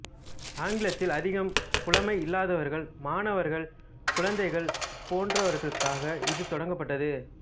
ஆங்கிலத்தில் அதிகம் புலமை இல்லாதவர்கள் மாணவர்கள் குழந்தைகள் போன்றவர்களுக்காக இது தொடங்கப்பட்டது